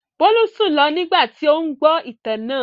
Bólú sùn lọ nígbà tí ó ń gbọ́ ìtàn náà.